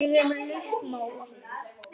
Ég er með lausn mála!